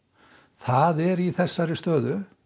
það er í þessari stöðu